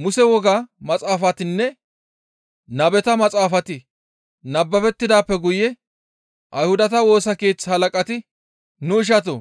Muse woga maxaafatinne nabeta maxaafati nababettidaappe guye Ayhudata Woosa Keeththa halaqati, «Nu ishatoo!